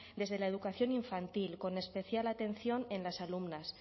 desde la educación infantil con especial atención en las alumnas